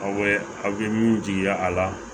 Aw bɛ aw bɛ min jigi a la